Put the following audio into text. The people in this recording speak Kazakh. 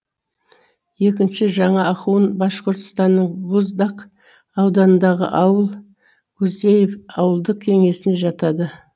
екінші жаңа ахун башқұртстанның буздак ауданындағы ауыл кузеев ауылдық кеңесіне жатады